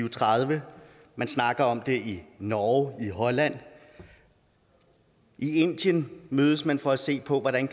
og tredive man snakker om det i norge og holland og i indien mødes man for at se på hvordan